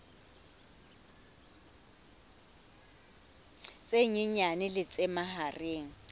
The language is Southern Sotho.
tse nyenyane le tse mahareng